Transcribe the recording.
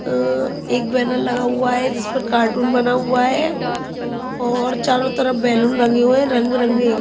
अ एक बैनर लगा हुआ है जिस पर कार्टून बना हुआ है और चारों तरफ बैलून लगे हुए है रंग बिरंगे।